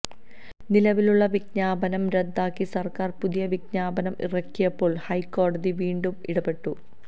നിലവിലുള്ള വിജ്ഞാപനം റദ്ദാക്കി സർക്കാർ പുതിയ വിജ്ഞാപനം ഇറക്കിയപ്പോൾ ഹൈക്കോടതി വീണ്ടും ഇടപെട്ടു